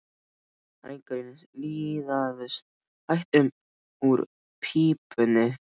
Reykurinn liðaðist hægt upp úr pípunni.